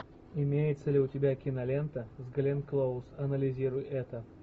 имеется ли у тебя кинолента с гленн клоуз анализируй это